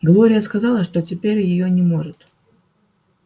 глория сказала что теперь её не может